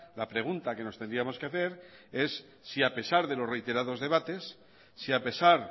la pregunta que nos tendríamos que hacer es si a pesar de los reiterados debates si a pesar